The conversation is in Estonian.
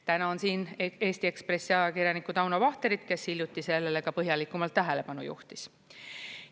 Tänan siin Eesti Ekspressi ajakirjanikku Tauno Vahterit, kes hiljuti sellele ka põhjalikumalt tähelepanu juhtis.